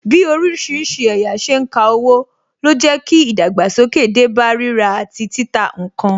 Bí orísìírísìí ẹ̀yà ṣe ń ka owó, ló jẹ́ kí ìdàgbàsókè dé bá rírà àti títà ǹkan